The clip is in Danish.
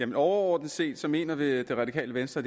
det overordnet set mener det radikale venstre